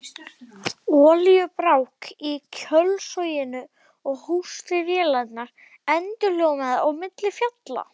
Olíubrák í kjölsoginu og hósti vélarinnar endurómaði á milli fjalla.